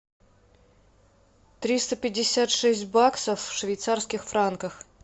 триста пятьдесят шесть баксов в швейцарских франках